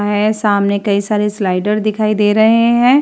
है सामने कई सारे स्लाइडर दिखाई दे रहे हैं।